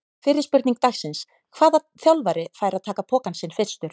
Fyrri spurning dagsins: Hvaða þjálfari fær að taka pokann sinn fyrstur?